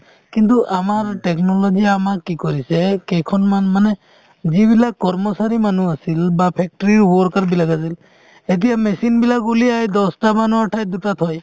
কিন্তু আমাৰ technology য়ে আমাক কি কৰিছে কেইখনমান মানে যিবিলাক কৰ্মচাৰী মানুহ আছিল বা factory worker বিলাক আছিল এতিয়া machine বিলাক উলিয়াই দহটা মানুহৰ ঠাইত দুটা থয়